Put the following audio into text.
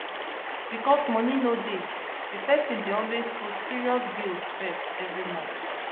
because money no dey the person dey always put serious bills first every month